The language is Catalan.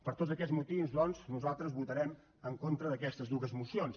per tots aquests motius doncs nosaltres votarem en contra d’aquestes dues mocions